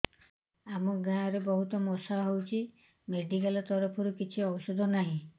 ଆମ ଗାଁ ରେ ବହୁତ ମଶା ହଉଚି ମେଡିକାଲ ତରଫରୁ କିଛି ଔଷଧ ନାହିଁ